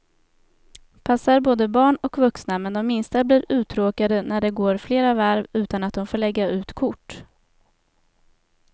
Passar både barn och vuxna, men de minsta blir uttråkade när det går flera varv utan att de får lägga ut kort.